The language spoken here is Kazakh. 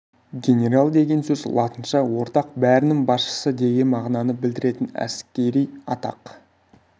генерал деген сөз латынша ортақ бәрінің басшысы деген мағынаны білдіретін әскери атақ